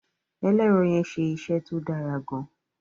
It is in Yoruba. ẹlẹrọ yén ṣe iṣé tó Dára gaan.